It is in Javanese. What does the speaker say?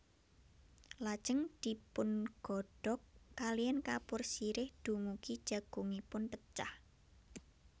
Lajeng dipungodhog kaliyan kapur sirih dumugi jagungipun pecah